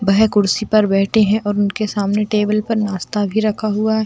वेह कुर्सी पर बैठे हैं और उनके सामने टेबल पर नाश्ता भी रखा हुआ है।